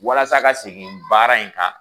Walasa ka segin baara in kan